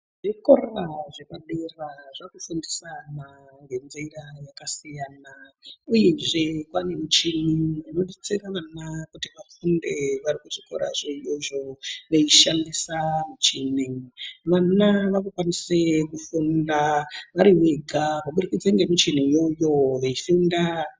Zvikora zvepadera zvakufundisa ana ngenzira yakasiyana ,uyezve panemichini inobetsera vana kuti vafunde varikuzvikora zvavo zvo veishandisa muchini. Vana vanokwanise kufunda varivega kubudikidza ngemichini iyoyo veifunda.